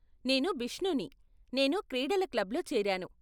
నేను బిష్నూని, నేను క్రీడల క్లబ్లో చేరాను.